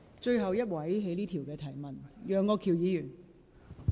最後一位提問的議員。